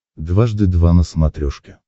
дважды два на смотрешке